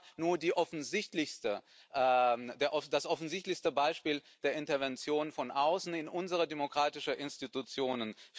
Das war nur das offensichtlichste Beispiel einer Intervention von außen in unsere demokratischen Institutionen.